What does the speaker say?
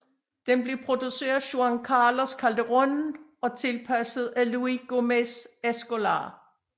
Den blev produceret fa Juan Carlos Calderón og tilpasset af Luis Gomez Escolar